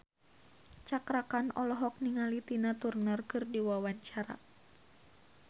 Cakra Khan olohok ningali Tina Turner keur diwawancara